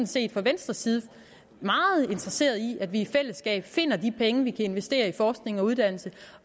set fra venstres side meget interesserede i at vi i fællesskab finder de penge vi kan investere i forskning og uddannelse